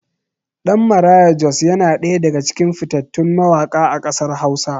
Ɗan Maraya Jos yana ɗaya daga cikin fitattun mawaƙa a ƙasar hausa.